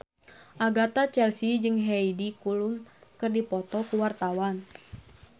Agatha Chelsea jeung Heidi Klum keur dipoto ku wartawan